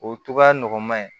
O cogoya nɔgɔman ye